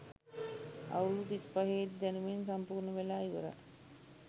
අවුරුදු තිස්පහේදී දැනුමෙන් සම්පූර්ණ වෙලා ඉවරයි.